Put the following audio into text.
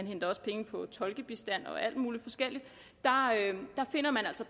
henter også penge fra tolkebistand og alt muligt forskelligt altså finder